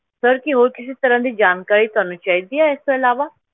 Sir ਕੀ ਹੋਰ ਕਿਸੇ ਤਰ੍ਹਾਂ ਦੀ ਜਾਣਕਾਰੀ ਤੁਹਾਨੂੰ ਚਾਹੀਦੀ ਹੈ ਇਸ ਤੋਂ ਇਲਾਵਾ।